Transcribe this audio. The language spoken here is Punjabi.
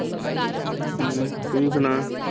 ਹਮ ਤੂੰ ਸੁਣਾ।